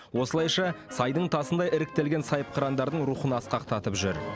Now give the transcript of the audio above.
осылайша сайдың тасындай іріктелген сайыпқырандардың рухын асқақтатып жүр